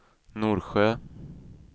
Norsjö